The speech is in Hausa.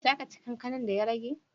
Za ka ci kankanar din da ya rage?